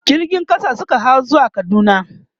jirgin ƙasa Suka hau zuwa kaduna